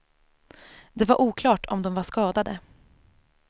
Det var oklart om de var skadade.